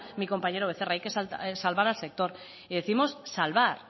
mi compañero becerra hay que salvar al sector y décimos salvar